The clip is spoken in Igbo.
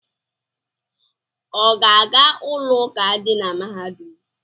Ọ ga-aga ụlọụka dị na mahadum?